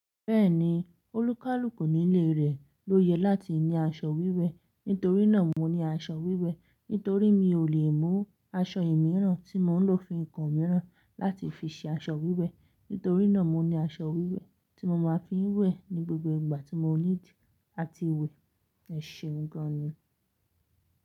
Bẹ́ẹ̀ni, olúkálùkù ní ilé rẹ̀ ló yẹ láti ní aṣọ wíwẹ̀. Nítorí náà mo ní aṣọ wíwẹ̀, nítorí mi ò lè mú aṣọ ìmíràn tí mò ń lò fún nǹkan mìíràn láti fi ṣe aṣọ wíwẹ̀. Nítorí náà mo ní aṣọ wíwẹ̀ tí mo máa fi ń wẹ̀ ní gbogbo ìgbà tí mo need áti wẹ̀. Ẹ̀ṣẹ̀un gan ni.